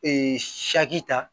Ee ta